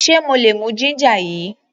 Ṣe mo lè mú ginger yìí?